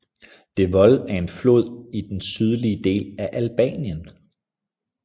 Devoll er en flod i den sydlige del af Albanien